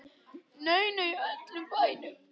Nei, nei, í öllum bænum.